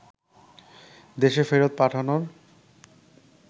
দেশে ফেরত পাঠানোর